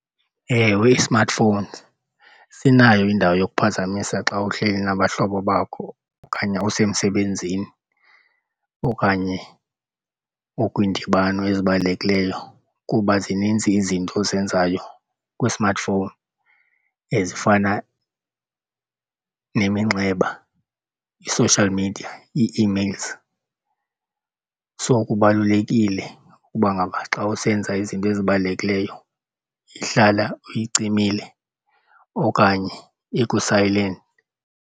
Ewe, ii-smartphones sinayo indawo yokuphazamisa xa uhleli nabahlobo bakho okanye usemsebenzini okanye okwiindibano ezibalulekileyo, kuba zininzi izinto ozenzayo kwi-smartphone ezifana neminxeba, ii-social media, ii-emails. So kubalulekile ukuba ngaba xa usenza izinto ezibalulekileyo ihlala uyicimile okanye iku-silent.